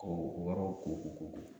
K'o o yɔrɔw ko ko ko ko